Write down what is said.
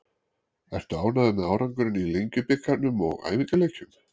Ertu ánægður með árangurinn í Lengjubikarnum og æfingaleikjum?